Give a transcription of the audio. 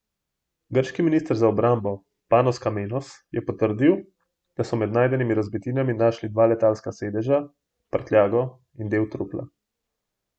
Grški minister za obrambo Panos Kamenos je potrdil, da so med najdenimi razbitinami našli dva letalska sedeža, prtljago in del trupla.